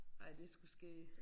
Ej det sgu skægt